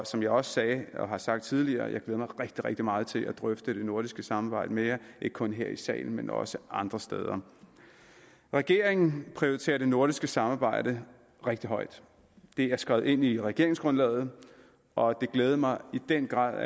som jeg også sagde og har sagt tidligere jeg mig rigtig rigtig meget til at drøfte det nordiske samarbejde mere ikke kun her i salen men også andre steder regeringen prioriterer det nordiske samarbejde rigtig højt det er skrevet ind i regeringsgrundlaget og det glædede mig i den grad